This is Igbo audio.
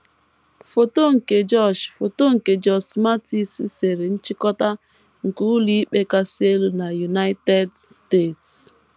Foto nke Josh Foto nke Josh Mathes sere, Nchịkọta nke Ụlọikpe Kasị Elu nke United States